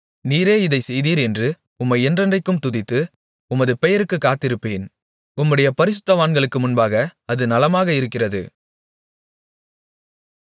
நீரே இதைச் செய்தீர் என்று உம்மை என்றென்றைக்கும் துதித்து உமது பெயருக்குக் காத்திருப்பேன் உம்முடைய பரிசுத்தவான்களுக்கு முன்பாக அது நலமாக இருக்கிறது